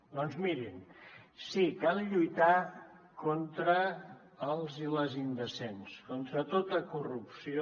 doncs mirin sí cal lluitar contra els i les indecents contra tota corrupció